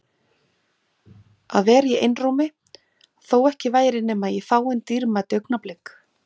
Að vera í einrúmi- þó ekki væri nema í fáein dýrmæt augnablik.